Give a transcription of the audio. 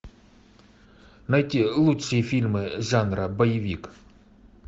найти лучшие фильмы жанра боевик